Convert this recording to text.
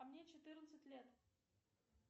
а мне четырнадцать лет